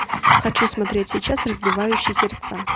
хочу смотреть сейчас разбивающий сердца